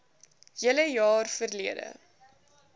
hele jaar verlede